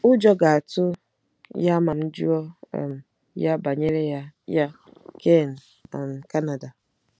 Ụjọ ga-atụ ya ma m jụọ um ya banyere ya ya. ”— Ken, um Canada.